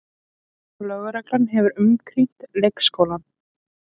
Lögreglan hefur umkringt leikskólann